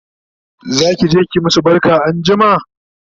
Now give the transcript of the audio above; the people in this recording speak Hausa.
zakije ki masu barka anjima?